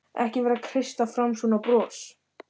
Ekki vera að kreista fram svona bros!